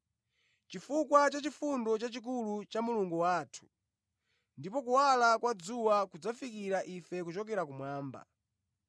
chifukwa cha chifundo chachikulu cha Mulungu wathu, ndipo kuwala kwa dzuwa kudzafikira ife kuchokera kumwamba,